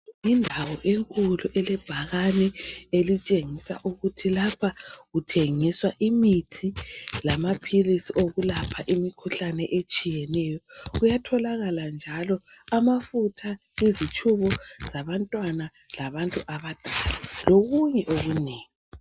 Yindawo enkulu elebhakani elitshengisa ukuthi lapha kuthengiswa imithi lamaphilisi okulapha imikhuhlane etshiyeneyo. Kuyatholakala njalo amafutha ezitshubo zabantwana labantu abadala lokunye okunengi.